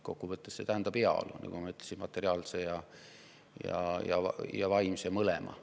Kokkuvõttes tähendab see, nagu ma ütlesin, nii materiaalset kui ka vaimset heaolu, mõlemat.